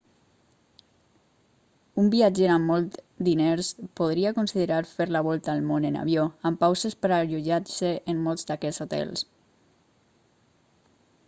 un viatger amb molts diners podria considerar fer la volta al món en avió amb pauses per allotjar-se en molts d'aquests hotels